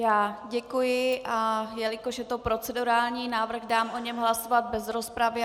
Já děkuji, a jelikož je to procedurální návrh, dám o něm hlasovat bez rozpravy.